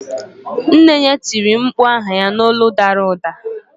Nne ya tiri mkpu aha ya n'olu dara ụda.